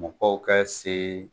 Mɔgɔw kɛ se.